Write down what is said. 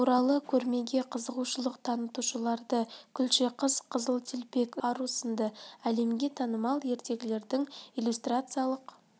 туралы көрмеге қызығушылық танытушыларды күлше қыз қызыл телпек ұйқыдағы ару сынды әлемге танымал ертегілердің иллюстрациялық